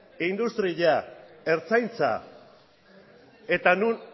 ertzaintza eta non